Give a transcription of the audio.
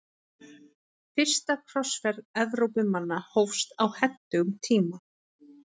Fyrsta krossferð Evrópumanna hófst á hentugum tíma.